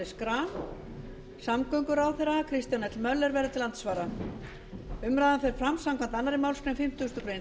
schram samgönguráðherra kristján l möller verður til andsvara umræðan fer fram samkvæmt annarri málsgrein fimmtugustu grein